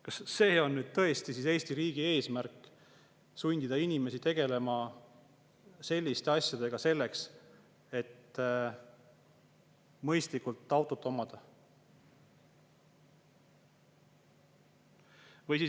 Kas Eesti riigi eesmärk on tõesti sundida inimesi tegelema selliste asjadega selleks, et mõistlikult autot omada?